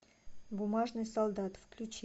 бумажный солдат включи